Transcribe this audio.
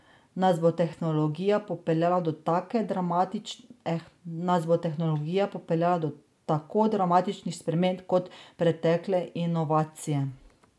Nas bo tehnologija popeljala do tako dramatičnih sprememb kot pretekle inovacije?